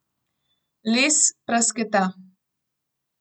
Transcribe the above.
Les prasketa.